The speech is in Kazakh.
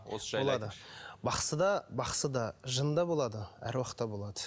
бақсыда бақсыда жын да болады аруақ та болады